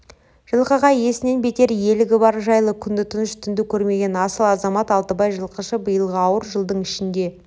жылқыға иесінен бетер иелігі бар жайлы күнді тыныш түнді көрмеген асыл азамат алтыбай жылқышы биылғы ауыр жылдың ішінде